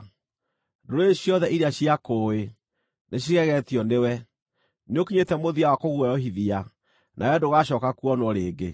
Ndũrĩrĩ ciothe iria ciakũũĩ, nĩcigegetio nĩwe; nĩũkinyĩte mũthia wa kũguoyohithia, nawe ndũgacooka kuonwo rĩngĩ.’ ”